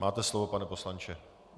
Máte slovo, pane poslanče.